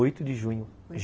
Oito de junho.